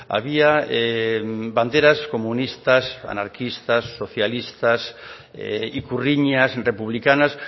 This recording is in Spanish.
había banderas comunistas anarquistas socialistas ikurriñas republicanas